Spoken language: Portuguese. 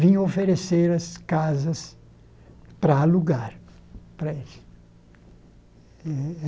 vinham oferecer as casas para alugar para eles. Eh